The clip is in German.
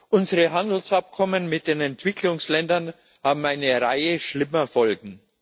Unsere Handelsabkommen mit den Entwicklungsländern haben eine Reihe schlimmer Folgen.